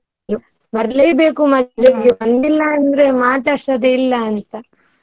ಬರ್ಲೇಬೇಕು ಮದ್ವೆಗೆ ಬಂದಿಲ್ಲ ಮಾತಾಡ್ಸೋದೇ ಇಲ್ಲ ಅಂತ.